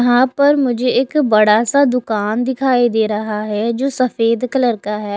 यहां पर मुझे एक बड़ा सा दुकान दिखाई दे रहा है जो सफेद कलर का है।